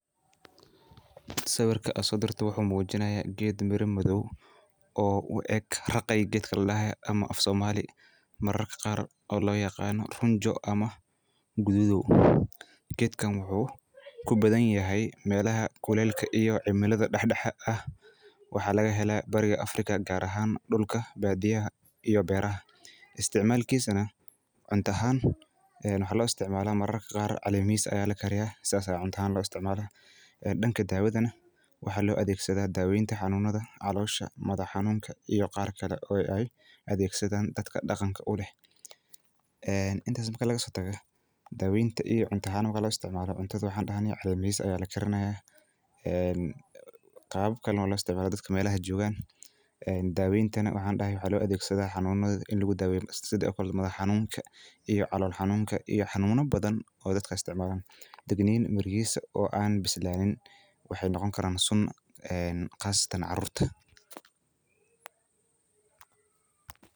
Sawirka AA sodirta waxu mujinaya , geet Mera mathow oo u eeg raqey geetka ladahoo, amah afsomali mararka qaar o loyaqanoh runjo amah guthuthow , geetkana waxu kubathanyahay melaha kuleleka iyo cimelada daxdaxa ah waxa lagahelah barika Afrika Gaar ahaan dulka baadiyaah iyo beeraha, isticmalkisa waxa lo isticmalah maraka qaar calemahiska Aya lakariyah saas Aya cunta aahan lo isticmalah danga dawatha waxa lovathegsadah daweynta xanunatha, caloshÃ wadnaha madaxa xanunka iyo qaarkali Aya athegsadan dadka daqangaka uleh. Intaasi marki lagasotagoh, daweynta iyo cunta ahaan marki lo isticmalah cuntaha waxadahnay caleymahis aya lagarinaya, ee qawabkali Aya lo isticmalah dadka meelaha jokah ee daweynta waxandahay waxa lo athegsadoh xanunatha ini lagi daweeyoh setha madaxxaninka, iyo calolol xanunka iyo xanununa bathan oo dadka isticmalah. Degnin merish oo AA bislanin waxay noqoni Karan suun ee qaasatan caruurta.